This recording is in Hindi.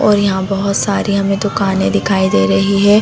और यहाँ बहुत सारी हमे दुकाने दिखाई दे रही है।